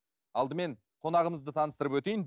алдымен қонағымызды таныстырып өтейін